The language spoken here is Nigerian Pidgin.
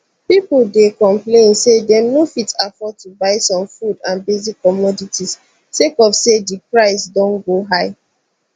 pipo dey complain say dem no fit afford to buy some food and basic commodities sake of say di price don go high